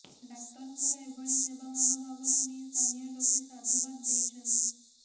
ଡାକ୍ତରଙ୍କର ଏଭଳି ସେବା ମନୋଭାବକୁ ନେଇ ସ୍ଥାନୀୟ ଲୋକେ ସାଧୁବାଦ ଦେଇଛନ୍ତି